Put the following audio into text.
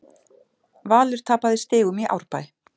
Valur tapaði stigum í Árbæ